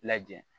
Lajɛ